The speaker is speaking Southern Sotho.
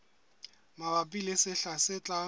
mabapi le sehla se tlang